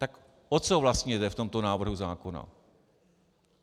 Tak o co vlastně jde v tomto návrhu zákona?